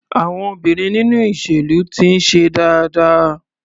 Àwọn obìnrin nínú ìṣèlú ti ń ṣe dáadáa.